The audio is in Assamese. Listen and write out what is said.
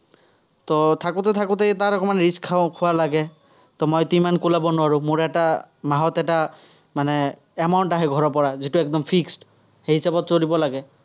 থাকোতে থাকোতে, তাৰ অকণমান rich খোৱা লাগে। মইতো ইমান নোৱাৰো, মোৰ এটা মাহত এটা মানে amount আহে ঘৰৰপৰা, যিটো একদম fixed সেই হিচাপত চলিব লাগে।